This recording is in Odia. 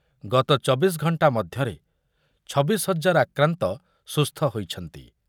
ଗତ ଚବିଶି ଘଣ୍ଟା ମଧ୍ୟରେ ଛବିଶି ହଜାର ଆକ୍ରାନ୍ତ ସୁସ୍ଥ ହୋଇଛନ୍ତି।